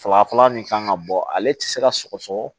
Saba fɔlɔ min kan ka bɔ ale tɛ se ka sɔgɔsɔgɔ